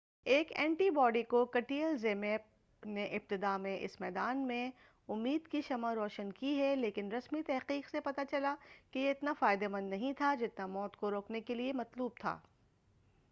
ایک antibody cocktail ZMapp نے ابتداء میں اس میدان میں امید کی شمع روشن کی ہے لیکن رسمی تحقیق سے پتہ چلا کہ یہ اتنا فائدہ مند نہیں تھا جتنا موت کو روکنے کیلئے مطلوب تھا